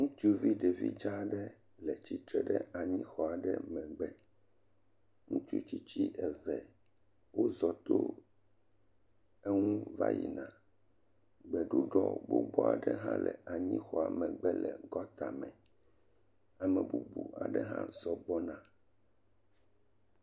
Ŋutsuvi ɖevi dza aɖe le tsitre ɖe exɔ aɖe megbe. Ŋutsu tsitsi eve wozɔ to eŋu va yina le ɖuɖɔ gbogbo aɖe hã le anyi xɔa megbe le gɔta me. Ame bubu hã zxɔ gbɔna.